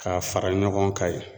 K'a fara ɲɔgɔn kan yen.